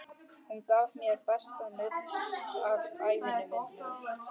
Hún gaf mér besta nudd ævi minnar.